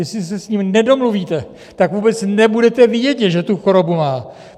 Jestli se s ním nedomluvíte, tak vůbec nebudete vědět, že tu chorobu má.